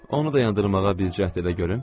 Onu dayandırmağa bir cəhd elə görüm.